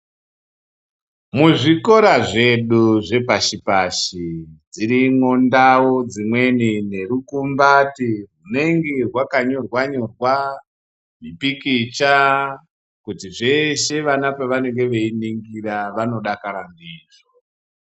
Muzvikora zvedu zvepashi pashi dzirimwo ndau dzimweni nerukumbati rwunenge rwakanyorwa nyorwa zvipikicha kuti zveshe vana pavanenge veiningira vanodakara ndizvo.